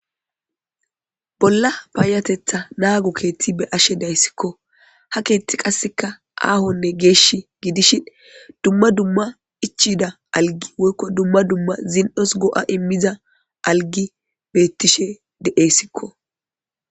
Bolla paayateththa naago keetti be'ashshe dayssikko ha keetti qasseka aahonne gidishi dumma dumma ichida algi woykko dumma dumma zin'os go'a immiza algi beettishshe de'essikko